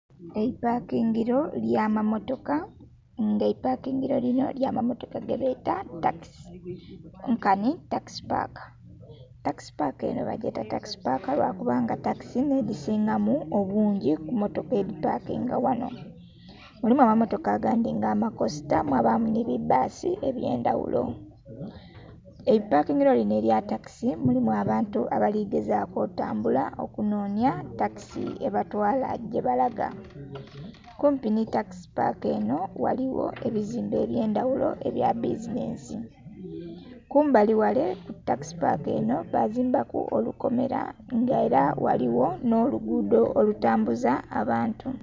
Eipakingilo ly'amammotoka. Nga eipakingilo linho ly'amammotoka gebeeta takisi. Nkanhi takisi paaka. Takisi paaka enho bagyeta takisi paaka lwa kubanga takisi nh'edhisingamu obungi ku mmotoka edhi pakinga ghano. Mulimu amammotoka agandhi nga amakosita mwabaamu nhi bi bbaasi eby'endaghulo. Mu ipakingilo linho elya takisi mulimu abantu abali gezaaku otambula okunhonhya takisi ebatwaala gyebalaga. Kumpi nhi takisi paaka enho ghaligho ebizimbe eby'endaghulo ebya bizineesi. Kumbali ghale ku takisi paaka enho bazimba ku olukomela nga ela ghaligho nh'oluguudho olutambuza abantu.